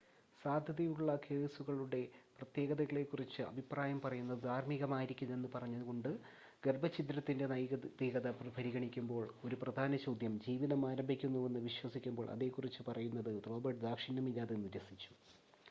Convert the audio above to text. സാധ്യതയുള്ള കേസുകളുടെ പ്രത്യേകതകളെ കുറിച്ച് അഭിപ്രായം പറയുന്നത് ധാർമ്മികമായിരിക്കില്ലെന്ന് പറഞ്ഞുകൊണ്ട് ഗർഭച്ഛിദ്രത്തിൻ്റെ നൈതികത പരിഗണിക്കുമ്പോൾ ഒരു പ്രധാന ചോദ്യം ജീവിതം ആരംഭിക്കുന്നുവെന്ന് വിശ്വസിക്കുമ്പോൾ അതേക്കുറിച്ച് പറയുന്നത് റോബർട്ട്സ് ദാക്ഷിണ്യമില്ലാതെ നിരസിച്ചു